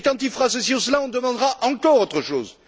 Et quand il fera ceci ou cela, on demandera encore autre chose.